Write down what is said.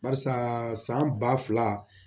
Barisa san ba fila